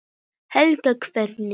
Helga: Hvernig?